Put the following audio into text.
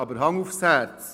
Aber Hand aufs Herz.